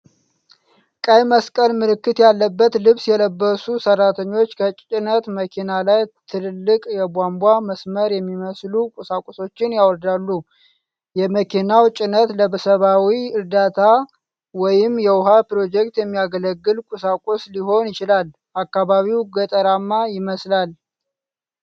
ቀይ መስቀል ምልክት ያለበት ልብስ የለበሱ ሰራተኞች ከጭነት መኪና ላይ ትልልቅ የቧንቧ መስመር የሚመስሉ ቁሳቁሶችን ያወርዳሉ። የመኪናው ጭነት ለሰብዓዊ ዕርዳታ ወይም የውሃ ፕሮጀክት የሚያገለግል ቁሳቁስ ሊሆን ይችላል። አካባቢው ገጠራማ ይመስላል።